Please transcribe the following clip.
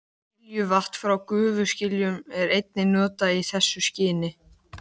Skiljuvatn frá gufuskiljunum er einnig notað í þessu skyni.